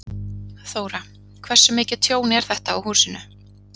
Þóra: Hversu mikið tjón er þetta á húsinu?